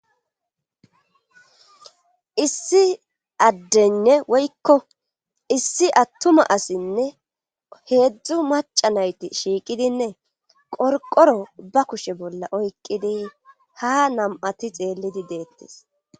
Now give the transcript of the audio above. Issi addeynne woykko issi attuma asinne heedzdzu maca nayti shiiqidinne qorqoro ba kushe bolla oykqidi ha nam7ati xeellidi deettes.